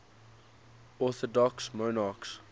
orthodox monarchs